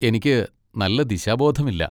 എനിക്ക് നല്ല ദിശാബോധമില്ല.